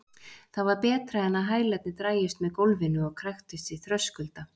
Það var betra en að hælarnir drægjust með gólfinu og kræktust í þröskulda.